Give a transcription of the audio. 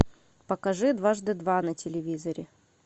покажи дважды два на телевизоре